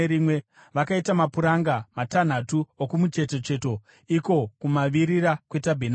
Vakaita mapuranga matanhatu okumucheto cheto, iko kumavirira kwetabhenakeri,